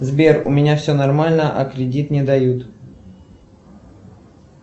сбер у меня все нормально а кредит не дают